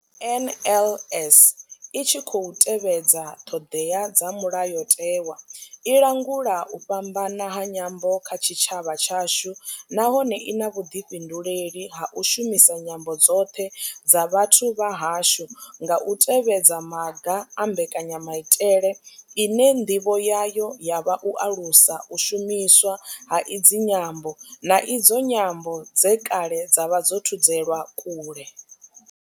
NLS I tshi khou tevhedza ṱhodea dza mulayotewa, i langula u fhambana ha nyambo kha tshitshavha tshashu nahone I na vhuḓifhinduleli ha u shumisa nyambo dzoṱhe dza vhathu vha hashu nga u tevhedza maga a mbekanyamaitele ine ndivho yayo ya vha u alusa u shumiswa ha idzi nyambo, na idzo nyambo dze kale dza vha dzo thudzelwa kule.